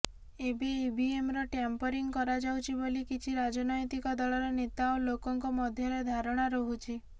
ଏବେ ଇଭିଏମ୍ର ଟ୍ୟାମ୍ପରିଂ କରାଯାଉଛି ବୋଲି କିଛି ରାଜନୈତିକ ଦଳର ନେତା ଓ ଲୋକଙ୍କ ମଧ୍ୟରେ ଧାରଣା ରହୁଛି